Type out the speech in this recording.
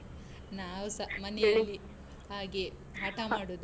ನಾವುಸ, ಮನೆಯಲ್ಲಿ. ಹಾಗೆಯೇ ಹಠ ಮಾಡುದು.